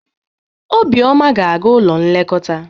Obioma ga-aga n'ụlọ nlekọta.